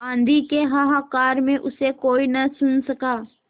आँधी के हाहाकार में उसे कोई न सुन सका